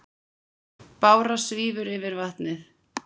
Bára svífur yfir vatnið.